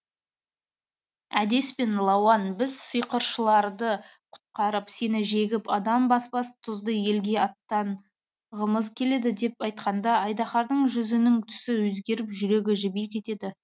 әдеспен лауан біз сиқыршыларды құтқарып сені жегіп адам баспас тұзды елге аттанғымыз келеді деп айтқанда айдаһардың жүзінің түсі өзгеріп жүрегі жіби кетеді